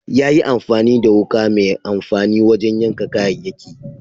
Ya yi amfani da wuka mai amfani wajen yanka kayayyaki.